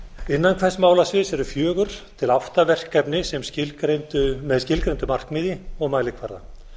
innan hvers málasviðs eru fjögur til átta verkefni með skilgreindu markmiði og mælikvarða